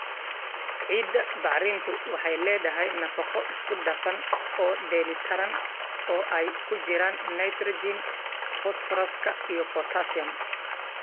Ciidda bacrintu waxay leedahay nafaqo isku dhafan oo dheellitiran, oo ay ku jiraan nitrogen, fosfooraska, iyo potassium.